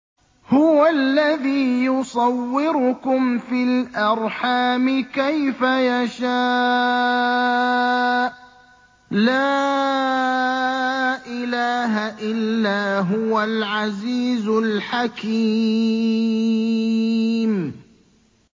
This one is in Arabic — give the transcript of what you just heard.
هُوَ الَّذِي يُصَوِّرُكُمْ فِي الْأَرْحَامِ كَيْفَ يَشَاءُ ۚ لَا إِلَٰهَ إِلَّا هُوَ الْعَزِيزُ الْحَكِيمُ